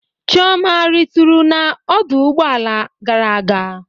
Chioma a ritu na ọdụ ụgbọ ala gara aga?